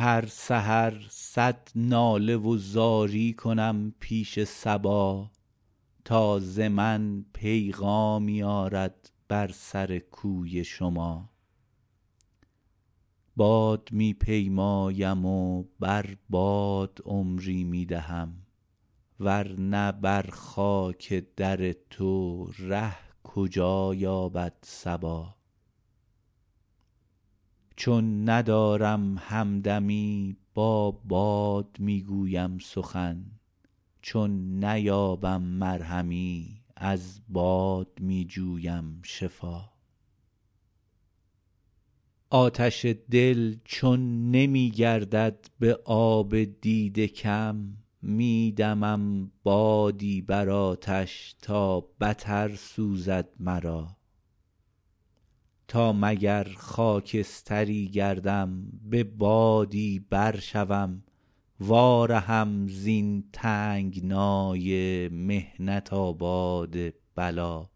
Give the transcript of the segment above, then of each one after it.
هر سحر صد ناله و زاری کنم پیش صبا تا ز من پیغامی آرد بر سر کوی شما باد می پیمایم و بر باد عمری می دهم ورنه بر خاک در تو ره کجا یابد صبا چون ندارم همدمی با باد می گویم سخن چون نیابم مرهمی از باد می جویم شفا آتش دل چون نمی گردد به آب دیده کم می دمم بادی بر آتش تا بتر سوزد مرا تا مگر خاکستری گردم به بادی بر شوم وا رهم زین تنگنای محنت آباد بلا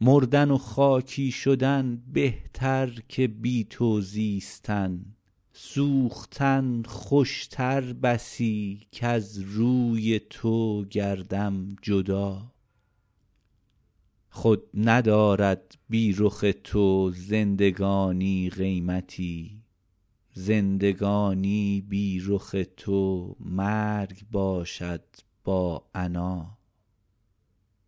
مردن و خاکی شدن بهتر که بی تو زیستن سوختن خوشتر بسی کز روی تو گردم جدا خود ندارد بی رخ تو زندگانی قیمتی زندگانی بی رخ تو مرگ باشد با عنا